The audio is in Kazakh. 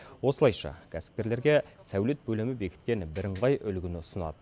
осылайша кәсіпкерлерге сәулет бөлімі бекіткен бірыңғай үлгіні ұсынады